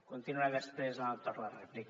continuaré després en el torn de rèplica